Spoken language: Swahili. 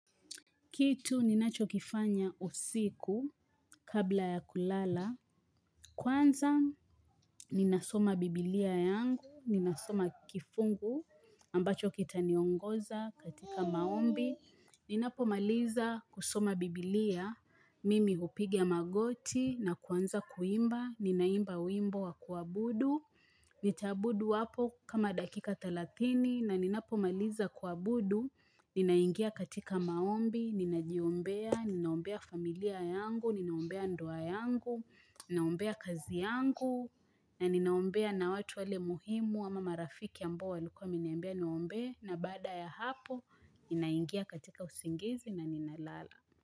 Kitu ninachokifanya usiku kabla ya kulala. Kwanza ninasoma biblia yangu, ninasoma kifungu ambacho kitaniongoza katika maombi. Ninapomaliza kusoma biblia, mimi hupiga magoti na kuanza kuimba, ninaimba wimbo wa kuabudu. Nitaabudu hapo kama dakika thelathini na ninapomaliza kuabudu. Ninaingia katika maombi, ninajiombea, ninaombea familia yangu, ninaombea ndoa yangu, ninaombea kazi yangu na ninaombea na watu wale muhimu ama marafiki ambao walikua wameniambia niwaombee na baada ya hapo, ninaingia katika usingizi na ninalala.